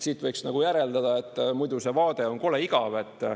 Siit võiks järeldada, et muidu see vaade on kole igav.